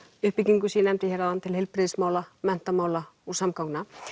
uppbyggingu sem ég nefndi hér áðan til heilbrigðismála menntamála og samgangna